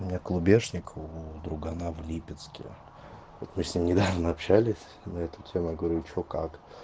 у меня клубешник у другана в липецке вот мы с ним недавно общались на этом тему я говорю что как